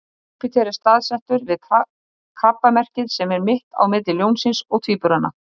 Júpíter er staðsettur við Krabbamerkið sem er mitt á milli Ljónsins og Tvíburana.